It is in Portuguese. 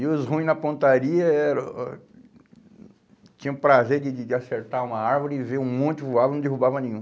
E os ruins na pontaria eram o tinham prazer de de de acertar uma árvore e ver um monte voar e não derrubava nenhum.